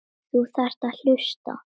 Þú þarft að hlusta.